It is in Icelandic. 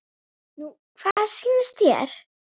Nú hvað sýnist þér.